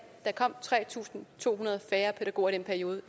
der kom tre tusind to hundrede færre pædagoger i den periode